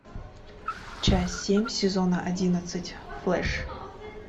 часть семь сезона одиннадцать флэш